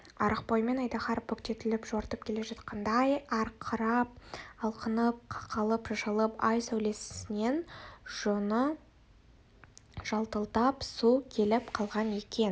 арық бойымен айдаһар бүктетіліп жортып келе жатқандай арқырап алқынып қақалып-шашалып ай сәулесінен жоны жалтылдап су келіп қалған екен